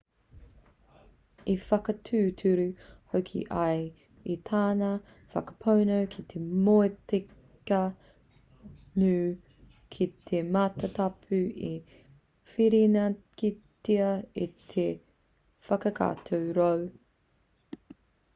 i whakatūturu hoki ia i tana whakapono ki te motika ngū ki te matatapu i whirinakitia e te whakatau roe